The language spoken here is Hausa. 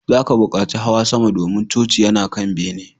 Za ka buƙaci hawa sama, domin coci yana kan bene